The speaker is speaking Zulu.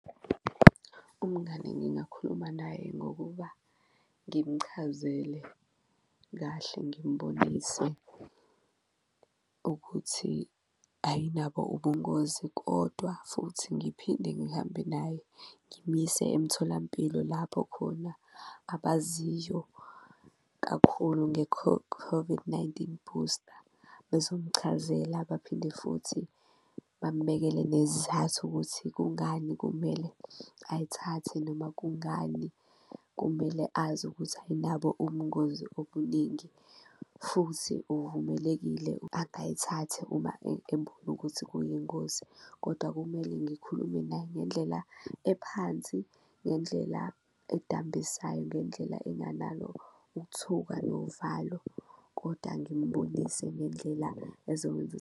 Umngani ngingakhuluma naye ngokuba ngimchazele kahle, ngimbonise ukuthi ayinabo ubungozi kodwa futhi ngiphinde ngihambe naye ngimyise emtholampilo lapho khona abaziyo kakhulu COVID-19 booster bezomchazela baphinde futhi bambhekele nezizathu ukuthi kungani kumele ayithathe. Noma kungani kumele azi ukuthi ayinabo ubungozi obuningi futhi uvumelekile agayithathe uma ebona ukuthi kuyingozi. Koda kumele ngikhulume naye ngendlela ephansi ngendlela edambisayo, ngendlela enganalo ukuthuka novalo koda ngimbonise ngendlela ezokwenza .